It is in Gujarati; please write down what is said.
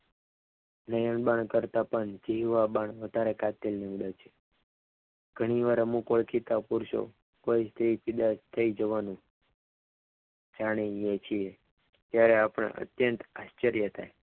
નયન બાન કરતા પણ જીવવા બાણ વધારે કાતિલ નીવડે છ ઘણીવાર અમુક ઓળખીતાઓ પૂરતો કોઈ સ્ત્રી ફિદા થઈ જવાનુ જાણીને થયું ત્યારે આપણને અત્યંત આસ્ચર્ય થાય.